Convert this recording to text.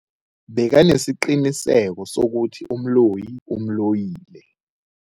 Bekanesiqiniseko sokuthi umloyi umloyile.